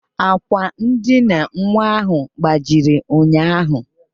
Àkwà ndina nwa ahụ gbajiri ụnyaahụ